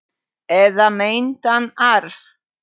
Eða meintan arf.